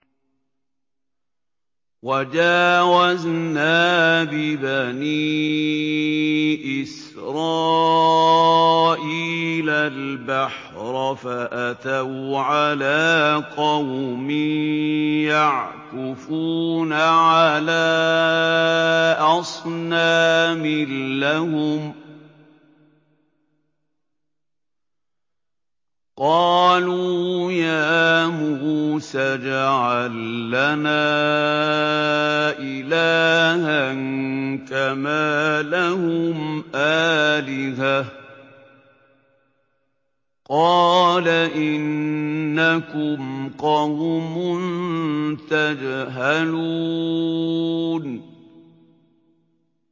وَجَاوَزْنَا بِبَنِي إِسْرَائِيلَ الْبَحْرَ فَأَتَوْا عَلَىٰ قَوْمٍ يَعْكُفُونَ عَلَىٰ أَصْنَامٍ لَّهُمْ ۚ قَالُوا يَا مُوسَى اجْعَل لَّنَا إِلَٰهًا كَمَا لَهُمْ آلِهَةٌ ۚ قَالَ إِنَّكُمْ قَوْمٌ تَجْهَلُونَ